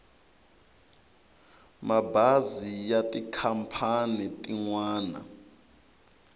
mabazi ya tikhampani tin wana